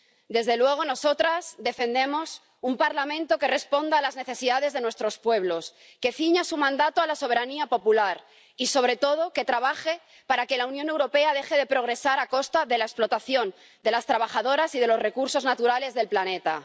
Desde luego, nosotras defendemos un Parlamento que responda a las necesidades de nuestros pueblos, que ciña su mandato a la soberanía popular y, sobre todo, que trabaje para que la Unión Europea deje de progresar a costa de la explotación de las trabajadoras y de los recursos naturales del planeta.